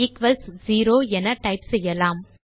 equals zero என type செய்வோம்